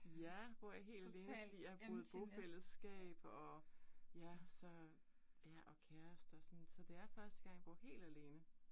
Ja, bor jeg helt alene fordi jeg har boet i bofællesskab og ja så ja og kærester og sådan, så det er første gang, jeg bor helt alene